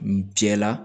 N jɛla